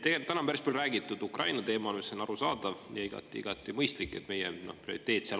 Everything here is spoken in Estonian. Tegelikult täna on päris palju räägitud Ukraina teemal ning on igati arusaadav ja mõistlik, et see on meie prioriteet.